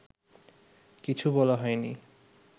কিছু বলা হয়নি